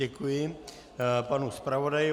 Děkuji panu zpravodaji.